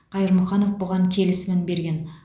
қайырмұханов бұған келісімін берген